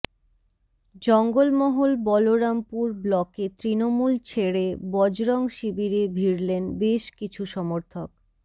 জঙ্গলমহল বলরামপুর ব্লকে তৃণমূল ছেড়ে বজরং শিবিরে ভিড়লেন বেশ কিছু সমর্থক